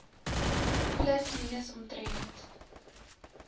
plus minus omtrent